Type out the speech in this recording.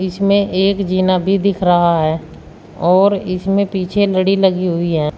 इसमें एक जीना भी दिख रहा है और इसमें पीछे लड़ी लगी हुई है।